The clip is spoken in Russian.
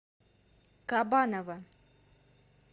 кабанова